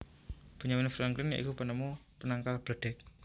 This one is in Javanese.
Benjamin Franklin ya iku penemu penangkal bledheg